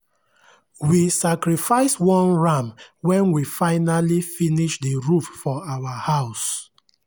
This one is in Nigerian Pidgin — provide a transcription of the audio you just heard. we sacrifice one ram when we finally finish the roof for our house.